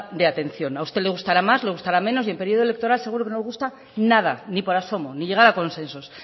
de atención a usted le gustará más le gustará menos y en periodo electoral seguro que no nos gusta nada ni por asomo ni llegar a consensos